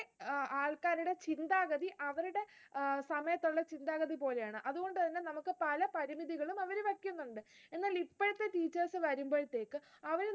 അഹ് ആൾക്കാരുടെ ചിന്താഗതി അവരുടെ, അഹ് സമയത്തുള്ള ചിന്താഗതി പോലെയാണ്. അതുകൊണ്ടുതന്നെ നമുക്ക് അവർ പല പരിമിതികളും അവര് വയ്ക്കുന്നുണ്ട്. എന്നാൽ ഇപ്പോഴത്തെ teachers വരുമ്പോഴത്തേക്ക്